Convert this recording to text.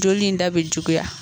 Joli in da bɛ juguya.